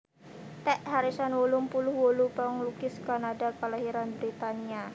Ted Harrison wolung puluh wolu panglukis Kanada kalairan Britania